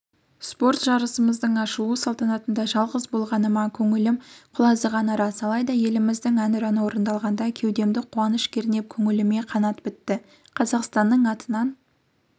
спорт жырысының ашылу салтанатында жалғыз болғаныма көңілім құлазығаны рас алайда еліміздің әнұраны орындалғанда кеудемді қуаныш кернеп көңіліме қанат бітті қазақстанның атынан